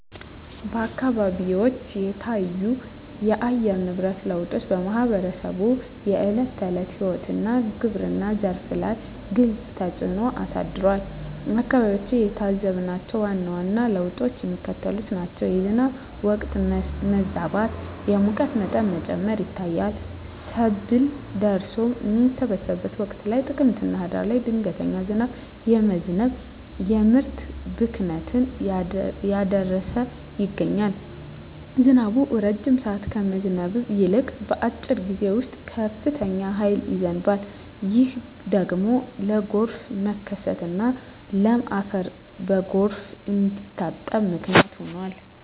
አካባቢዎች የታዩት የአየር ንብረት ለውጦች በማኅበረሰቡ የዕለት ተዕለት ሕይወትና በግብርናው ዘርፍ ላይ ግልጽ ተፅእኖ አሳድረዋል። በአካባቢያችን የታዘብናቸው ዋና ዋና ለውጦች የሚከተሉት ናቸው፦ የዝናብ ወቅት መዛባት፣ የሙቀት መጠን መጨመር ይታያል። ሰብል ደርሶ በሚሰበሰብበት ወቅት (ጥቅምትና ህዳር) ድንገተኛ ዝናብ በመዝነብ የምርት ብክነትን እያደረሰ ይገኛል። ዝናቡ ረጅም ሰዓት ከመዝነብ ይልቅ፣ በአጭር ጊዜ ውስጥ በከፍተኛ ኃይል ይዘንባል። ይህ ደግሞ ለጎርፍ መከሰትና ለም አፈር በጎርፍ እንዲታጠብ ምክንያት ሆኗል።